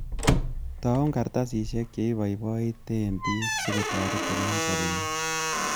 Taun kartasisiek che iboiboite bik, sikotoretin en sobeng'ung.